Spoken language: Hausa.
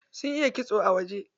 Sun iya kitso a wajen.